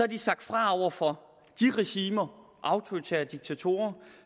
de sagt fra over for de regimer og autoritære diktatorer